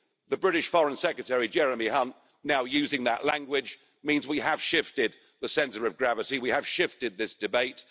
see the British Foreign Secretary Jeremy Hunt now using that language means that we have shifted the centre of gravity, we have shifted this debate.